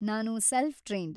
ನಾನು self trained.